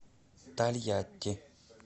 тольятти